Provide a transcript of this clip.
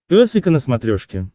пес и ко на смотрешке